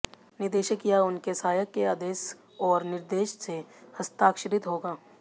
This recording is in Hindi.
निदेशक या उनके सहायक के आदेश और निर्देश से हस्ताक्षरित होगा